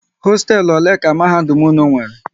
Hosteelu ole ka mahadum unu nwéré?